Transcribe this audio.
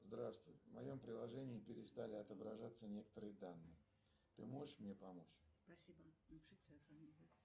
здравствуй в моем приложении перестали отображаться некоторые данные ты можешь мне помочь